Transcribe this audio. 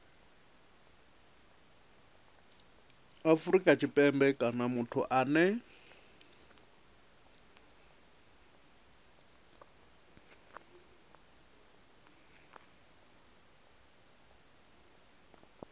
afrika tshipembe kana muthu ane